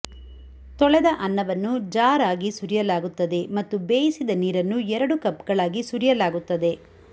ತೊಳೆದ ಅನ್ನವನ್ನು ಜಾರ್ ಆಗಿ ಸುರಿಯಲಾಗುತ್ತದೆ ಮತ್ತು ಬೇಯಿಸಿದ ನೀರನ್ನು ಎರಡು ಕಪ್ಗಳಾಗಿ ಸುರಿಯಲಾಗುತ್ತದೆ